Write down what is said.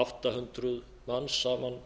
átta hundruð manns saman